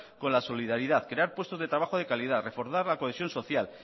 con la solidaridad crear puestos de trabajo de calidad reforzar la cohesión social